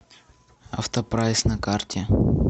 автопрайс на карте